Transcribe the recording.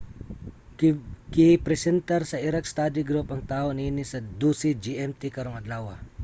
gipresentar sa iraq study group ang taho niini sa 12.00 gmt karong adlawa